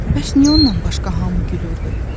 Bəs niyə onunla başqa hamı gülürdü?